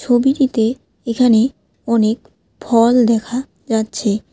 ছবিটিতে এখানে অনেক ফল দেখা যাচ্ছে।